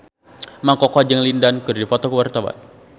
Mang Koko jeung Lin Dan keur dipoto ku wartawan